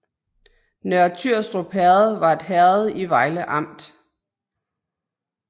Nørre Tyrstrup Herred var et herred i Vejle Amt